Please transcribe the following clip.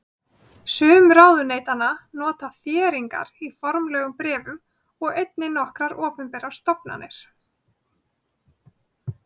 Sum ráðuneytanna nota þéringar í formlegum bréfum og einnig nokkrar opinberar stofnanir.